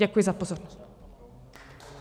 Děkuji za pozornost.